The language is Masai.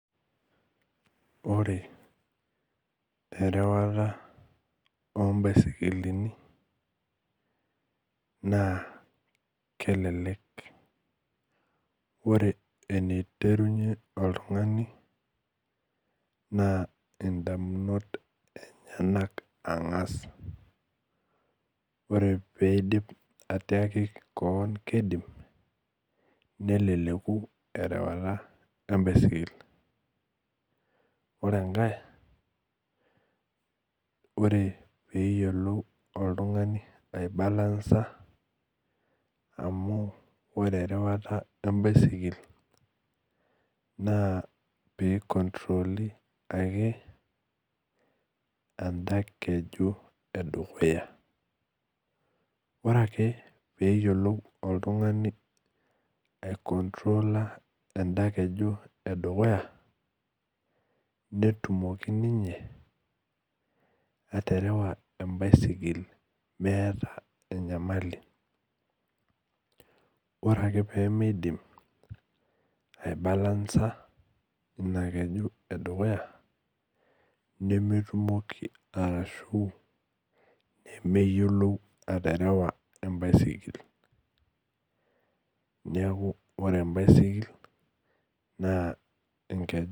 Ore erwwata ombaisikil i na kelek ore entirenye oltungani na indakunot emyenak angas ore piidim atiaki keon kidim neleku erewata embaisikil ore enkae ore peyiolou oltungani aibalansa amu ore erwwata embaisikil na pikontroli ake enda keji edukuya ore ake peyiolou oltungani aikontrola emda keju edukuya netumoki ninye aterewa mweta enyamali ore ake pimidim ai balanca ina keju edukuya arashu nemyiolou aterewa embaisikil neaku ore embaisikil na enkeju.